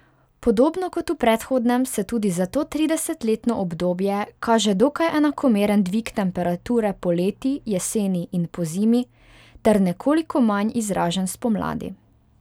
Podobno kot v predhodnem se tudi za to tridesetletno obdobje kaže dokaj enakomeren dvig temperature poleti, jeseni in pozimi ter nekoliko manj izražen spomladi.